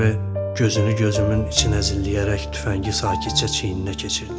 Erve gözünü gözümün içinə zilləyərək tüfəngi sakitcə çiyninə keçirdi.